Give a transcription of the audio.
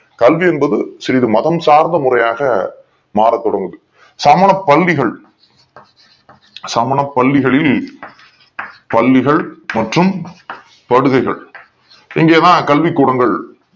கல்வி என்பது சிறிது மதம் சார்ந்த முறையாக மாற தொடங்குது சமண பல்லிகள் சமண பல்விகளில் பல்லிக்ள் மற்றும் படுகைகள் இங்கே வா கல்வி கூடங்கள்